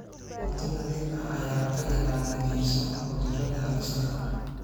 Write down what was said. Cunto nadiif ah ayaa ka ilaalinaysa cudurrada halista ah.